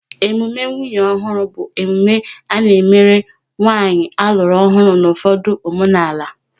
Emume nwunye ọhụrụ bụ emume a na-emerụ nwanyị alụrụ ọhụrụ n' ụfọdụ omenala